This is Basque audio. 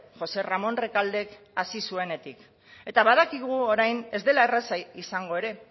josé ramón recaldek hasi zuenetik eta badakigu orain ez dela erraza izango ere